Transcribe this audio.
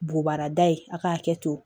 Bugubarada ye a k'a kɛ ten